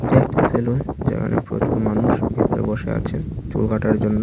এ একটি সেলুন যেখানে প্রচুর মানুষ ভিতরে বসা আছে চুল কাটার জন্য।